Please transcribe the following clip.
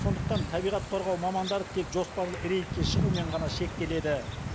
сондықтан табиғат қорғау мамандары тек жоспарлы рейдке шығумен ғана шектеледі